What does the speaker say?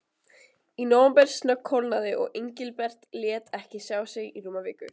Í nóvember snöggkólnaði og Engilbert lét ekki sjá sig í rúma viku.